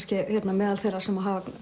meðal þeirra sem hafa